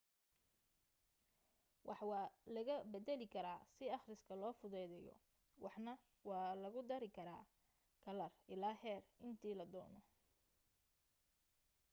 wax waa laga badali karaa si aqriska loo fududeyo waxaana lagu dari karaa kalar ilaa heer inti ladoono